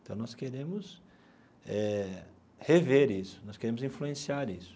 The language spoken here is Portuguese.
Então nós queremos eh rever isso, nós queremos influenciar isso.